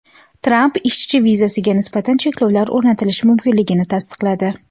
Tramp ishchi vizasiga nisbatan cheklovlar o‘rnatilishi mumkinligini tasdiqladi.